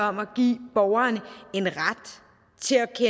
om at give borgeren